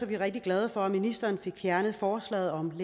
vi rigtig glade for at ministeren fik fjernet forslaget om